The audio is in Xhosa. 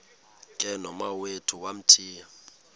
ke nomawethu wamthiya